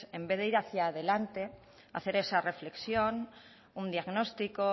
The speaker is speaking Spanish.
en vez de ir hacia adelante hacer esa reflexión un diagnóstico